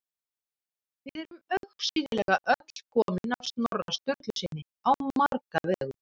Við erum augsýnilega öll komin af Snorra Sturlusyni á marga vegu.